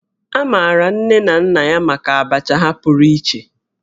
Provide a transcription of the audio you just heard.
A maara nne na nna ya maka Abacha ha pụrụ iche